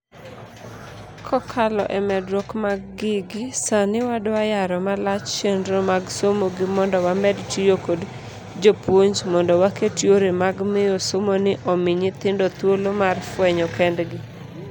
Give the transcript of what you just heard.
Kokalo emedruok mag gigi, sani wadwa yaro malach chenro mag somogi mondo wamed tiyo kod jopuonj mondo waket yore mag miyo somoni omi nyithindo thuolo mar fuenyo kendgi.